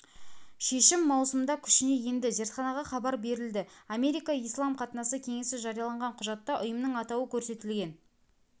шешім маусымда күшіне енді зертханаға хабар берілді америка ислам қатынасы кеңесі жариялаған құжатта ұйымның атауы көрсетілген